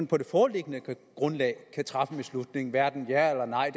på det foreliggende grundlag kan træffe en beslutning hverken ja eller nej